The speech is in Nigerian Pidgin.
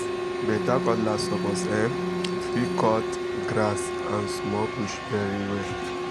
better cutlass suppose um fit um cut um grass and small bush very well